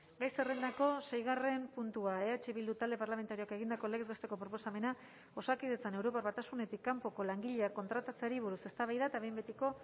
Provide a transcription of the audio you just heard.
gai zerrendako seigarren puntua eh bildu talde parlamentarioak egindako legez besteko proposamena osakidetzan europar batasunetik kanpoko langileak kontratatzeari buruz eztabaida eta behin betiko